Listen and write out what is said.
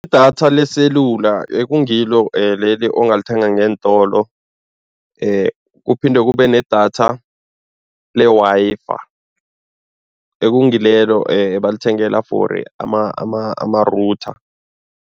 Idatha le-cellular ekungilo leli ongalithenga ngeentolo kuphinde kube nedatha le-Wi-Fi fi ekungilelo ebalingele for ama-router.